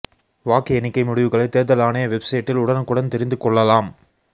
வாக்கு எண்ணிக்கை முடிவுகளை தேர்தல் ஆணைய வெப்சைட்டில் உடனுக்குடன் தெரிந்து கொள்ளலாம்